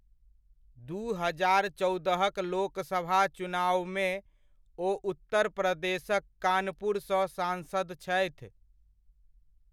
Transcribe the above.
दू हजार चौदहक लोकसभा चुनावमे ओ उत्तर प्रदेशक कानपुर सँ सांसद छथि।